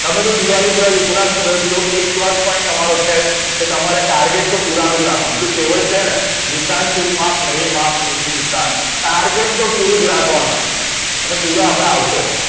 તમે તો દિવાળી યુથ નાં student છો એક plus point તમારો છે જ કે તમારે target તો પુરાણું જ રાખવાનું પેલી કેહવત છેને નિશાન ચૂક માપ નહિ માપ નીચું નિશાન target તો પૂરું જ રાખવાનું અને પુરા આપડા આવશે